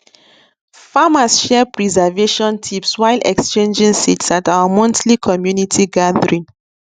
farmers share preservation tips while exchanging seeds at our monthly community gathering